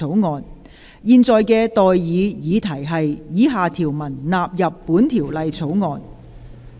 我現在向各位提出的待議議題是：以下條文納入本條例草案。